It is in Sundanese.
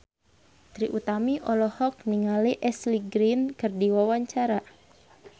Trie Utami olohok ningali Ashley Greene keur diwawancara